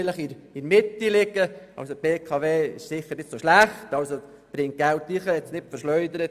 Die BKW ist auf der einen Seite sicher nicht so schlecht, sondern bringt dem Kanton Geld ein und hat es nicht verschleudert.